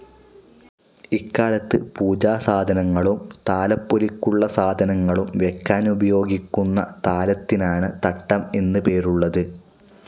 ഇക്കാലത്ത് പൂജാസാധനങ്ങളും താലപ്പൊലിക്കുള്ള സാധനങ്ങളും വയ്ക്കാനുപയോഗിക്കുന്ന താലത്തിനാണ് തട്ടം എന്നു പേരുള്ളത്.